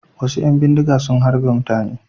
Wasu ƴan bindiga sun harbe mutane.